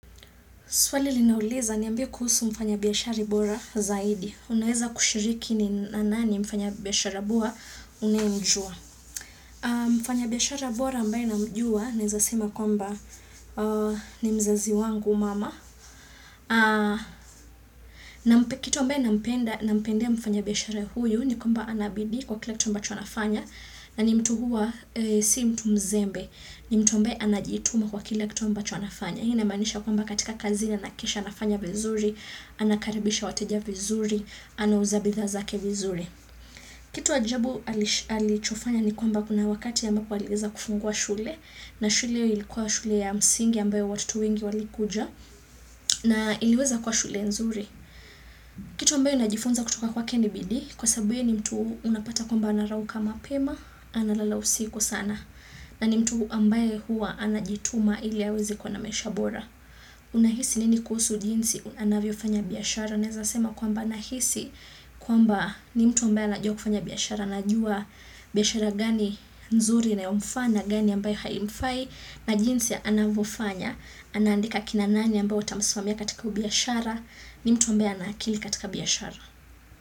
Swali linauliza niambiye kuhusu mfanya biashara bora zaidi. Unaweza kushiriki ni nani mfanya biashara bora unaye mjua. Mfanya biashara bora ambaye namjua, nawezasema kwamba ni mzazi wangu mama. Kitu ambaye nampendea mfanya biashara huyu ni kwamba anabidii kwa kila kitu ambacho anafanya. Na ni mtu huwa si mtu mzembe. Ni mtu mbae anajituma kwa kila kito mba chonafanya. Hii inamaanisha kwamba katika kazi na anahakikisha anafanya vizuri, anakaribisha wateja vizuri, anauza bidhaa zake vizuri. Kitu ajabu alichofanya ni kwamba kuna wakati ya ambako aliweza kufungua shule, na shule ilikuwa shule ya msingi ambayo watoto wengi walikuja, na iliweza kuwa shule nzuri. Kitu ambayo najifunza kutoka kwa ke ni bidii, kwa sababu ni mtu unapata kwamba anarauka mapema, analala usiku sana. Na ni mtu ambaye hua anajituma ili aweze kuwa namaisha bora. Unahisi nini kuhusu jinsi anavyo fanya biashara Naweza sema kwamba nahisi kwamba ni mtu ambaye anajua kufanya biashara aNajua biashara gani nzuri na inayomfaa gani ambayo haimfai Najinsi anavyo fanya anaandika kina nani ambao watamasimamia katika biashara ni mtu ambaye ana akili katika biashara.